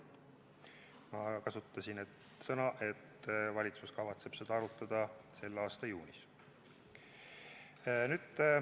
Ma ütlesin, et valitsus kavatseb seda arutada selle aasta juunis.